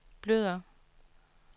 blødere